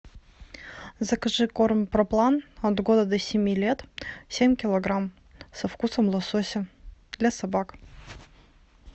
закажи корм проплан от года до семи лет семь килограмм со вкусом лосося для собак